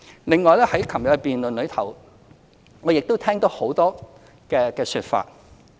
另外在昨天的辯論，我亦聽到很多說法。